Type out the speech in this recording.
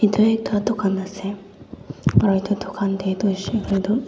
etu ekta dukan ase aru etu dukan tae toh hoisey koiley toh.